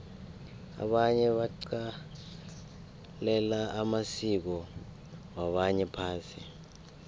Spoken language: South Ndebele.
abanye baqalela amasiko wabanye phasi